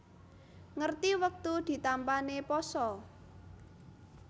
Ngerti wektu ditampané pasa